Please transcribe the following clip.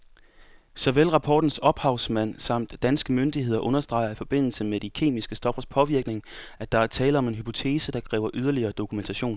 Såvel rapportens ophavsmænd samt danske myndigheder understreger i forbindelse med de kemiske stoffers påvirkning, at der er tale om en hypotese, der kræver yderligere dokumentation.